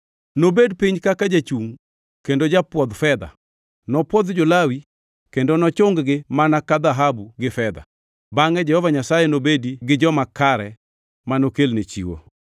Nobed piny kaka jachung kendo japwodh fedha; nopwodh jo-Lawi kendo nochung-gi mana ka dhahabu gi fedha. Bangʼe Jehova Nyasaye nobedi gi joma kare manokelne chiwo,